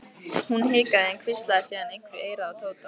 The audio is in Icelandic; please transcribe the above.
Hún hikaði en hvíslaði síðan einhverju í eyrað á Tóta.